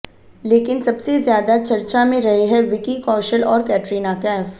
लेकिन सबसे ज्यादा चर्चा में रहे हैं विकी कौशल और कैटरीना कैफ